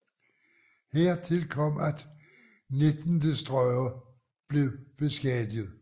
Hertil kom at 19 destroyere blev beskadiget